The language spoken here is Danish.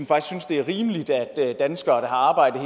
det er rimeligt at danskere der har arbejdet